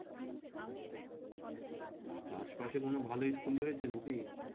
তা আশেপাশে কোন ভাল school রয়েছে নাকি?